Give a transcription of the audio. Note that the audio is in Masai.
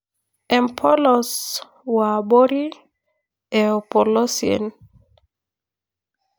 Empolos wo abori e opolosien.